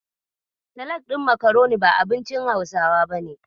Salak ɗin makaroni ba abincin Hausawa bane.